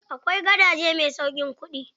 Akwai gadaje mai sauƙin kuɗi.